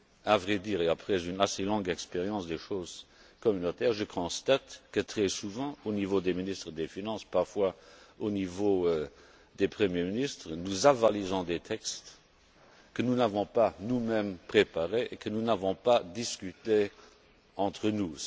À vrai dire et après une assez longue expérience des choses communautaires, je constate que très souvent, au niveau des ministres des finances, parfois au niveau des premiers ministres, nous avalisons des textes que nous n'avons pas nous mêmes préparés et que nous n'avons pas discuté entre nous.